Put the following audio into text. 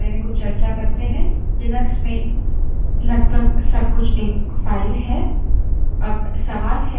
आगे बढ़ने से पहले हम files और directories के बारे में कुछ चर्चा करते हैं